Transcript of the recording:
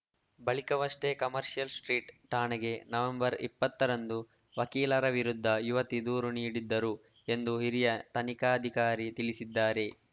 ಬಳಿಕವಷ್ಟೇ commercial street ಠಾಣೆಗೆ November ಇಪ್ಪತ್ತರಂದು ವಕೀಲರ ವಿರುದ್ಧ ಯುವತಿ ದೂರು ನೀಡಿದ್ದರು ಎಂದು ಹಿರಿಯ ತನಿಖಾಧಿಕಾರಿ ತಿಳಿಸಿದ್ದಾರೆ